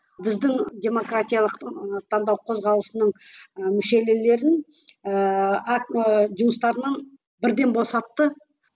біздің демократиялық таңдау қозғалысының і ыыы ы жұмыстарынан бірден босатты